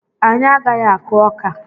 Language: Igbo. Anyị agaghị akụ ọka.